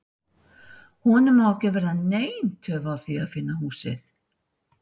Honum á ekki að verða nein töf að því að finna húsið.